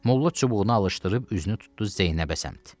Molla çubuğunu alışdırıb üzünü tutdu Zeynəbə səmt.